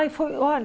Aí foi olha